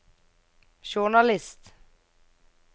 journalist